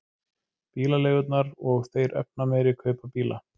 Bílaleigurnar og þeir efnameiri kaupa bíla